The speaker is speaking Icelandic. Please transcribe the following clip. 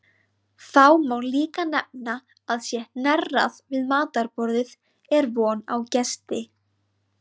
Þá má líka nefna að sé hnerrað við matarborðið er von á gesti.